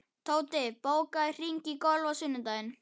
Tóti, bókaðu hring í golf á sunnudaginn.